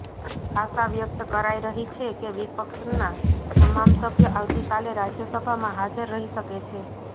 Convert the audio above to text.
આશા વ્યક્ત કરાઇ રહી છે કે વિપક્ષના તમામ સભ્ય આવતીકાલે રાજ્યસભામાં હાજર રહી શકે છે